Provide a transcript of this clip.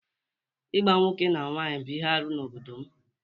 Ịgba nwoke na nwaanyị bụ ihe arụ n’obodo m